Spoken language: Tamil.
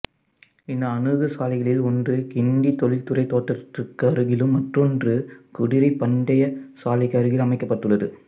இந்த அணுகு சாலைகளில் ஒன்று கிண்டி தொழில்துறை தோட்டத்திற்கு அருகிலும் மற்றொன்று குதிரைப் பந்தயச் சாலைக்கு அருகில் அமைக்கப்பட்டுள்ளது